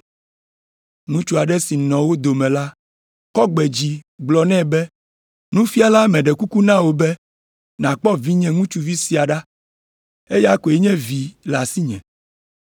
Ŋutsu aɖe si nɔ wo dome la kɔ gbe dzi gblɔ nɛ be, “Nufiala, meɖe kuku na wò be nàkpɔ vinye ŋutsuvi sia ɖa; eya koe nye vi le asinye.